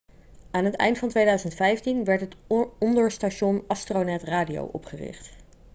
aan het eind van 2015 werd het onderstation astronet radio opgericht